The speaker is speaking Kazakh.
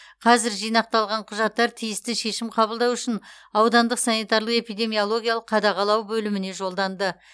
қазір жинақталған құжаттар тиісті шешім қабылдау үшін аудандық санитарлық эпидемиологиялық қадағалау бөліміне жолданды